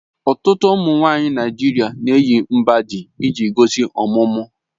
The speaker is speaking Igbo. Ọtụtụ ụmụ nwanyị Naijiria na-eyi mgbájí iji gosi ọmụmụ